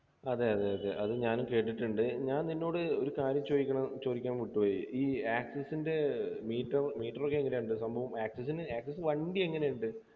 അതെ അതെ അതെ അത് ഞാനും കേട്ടിട്ടുണ്ട് ഞാൻ നിന്നോട് ഒരു കാര്യം ചോദിക്കണം ചോദിക്കാൻ വിട്ടുപോയി ഈ access ൻ്റെ meter meter ഒക്കെ എങ്ങനെയുണ്ട് സംഭവം access നു access വണ്ടി എങ്ങനെയുണ്ട്